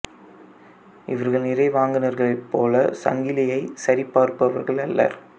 இவர்கள் நிறை வாங்குநர்களைப் போல சங்கிலியைச் சரி பார்ப்பவர்கள் அல்லர்